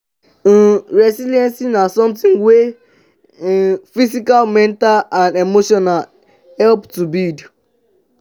um resilience na somthing wey need um physical mental and emotional help to build.